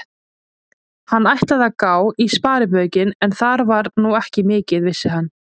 Hann ætlaði að gá í sparibaukinn, en þar var nú ekki mikið, vissi hann.